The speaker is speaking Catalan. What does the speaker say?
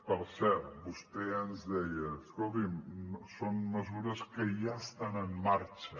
per cert vostè ens deia escoltin són mesures que ja estan en marxa